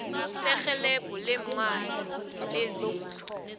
serhelebho leemali lezindlu